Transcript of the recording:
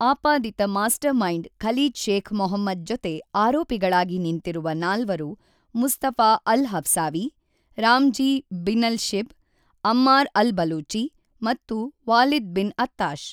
ಆಪಾದಿತ mastermind Khalid Sheikh Mohammed ಜೊತೆ ಆರೋಪಿಗಳಾಗಿ ನಿಂತಿರುವ ನಾಲ್ವರು Mustafa al-Hawsawi, Ramzi bin al-Shibh, Ammar al-Baluchi ಮತ್ತು ವಾಲಿದ್ ಬಿನ್ ಅತ್ತಾಶ್.